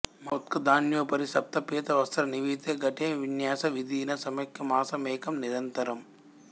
మఉద్గదాన్యోపరి స్వప్తపీతవస్త్రాన్వితే ఘటే విన్యస్య విధినా సమ్యక్ మాసమేకం నిరంతరమ్